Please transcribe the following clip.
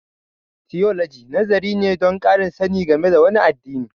Tiyoloji nazari ne don ƙarin sani game da wani addini.